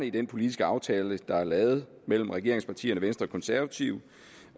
i den politiske aftale der er lavet mellem regeringspartierne venstre og konservative